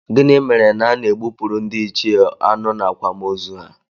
Gịnị mere na a na-egbupụrụ ndịichie anụ n'akwamozu ha?